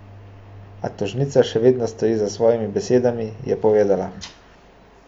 A tožnica še vedno stoji za svojimi besedami, je povedala.